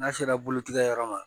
N'a sera bolotigɛ yɔrɔ ma